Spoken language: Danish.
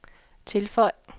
tilføj